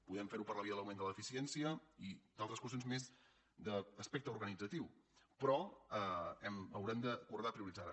podem fer ho per la via de l’augment de l’eficiència i d’altres qüestions més d’aspecte organitzatiu però haurem d’acordar prioritzar la